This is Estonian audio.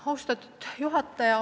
Austatud juhataja!